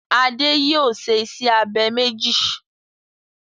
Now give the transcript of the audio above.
Adé yòó se isẹ́ abẹ méjì.